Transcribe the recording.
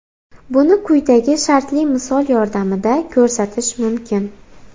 Buni quyidagi shartli misol yordamida ko‘rsatish mumkin.